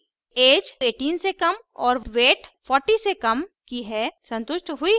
age 18 से कम और weight 40 से कम की है संतुष्ट हुई है